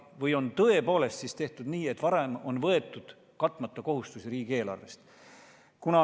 Või on tõepoolest tehtud nii, et varem on võetud riigieelarvest katmata kohustusi?